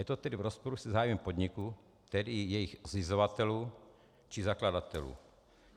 Je to tedy v rozporu se zájmem podniků, tedy jejich zřizovatelů či zakladatelů.